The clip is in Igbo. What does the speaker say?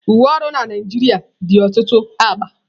Uwe ọrụ na Naịjirịa dị ọtụtụ agba.